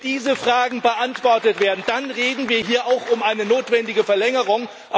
ist. Wenn diese Fragen beantwortet werden, dann reden wir hier auch über eine notwendige Verlängerung.